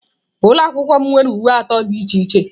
Ụlọ akwụkwọ m nwere uwe atọ dị iche iche.